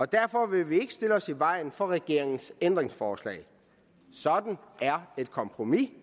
derfor vil vi ikke stille os i vejen for regeringens ændringsforslag sådan er et kompromis vi